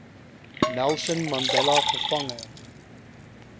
nelson mandela gevange